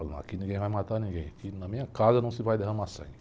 Falou, aqui ninguém vai matar ninguém, aqui na minha casa não se vai derramar sangue.